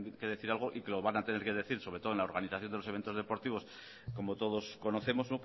que decir algo y que lo van a tener que decir sobre todo en la organización de los eventos deportivos como todos conocemos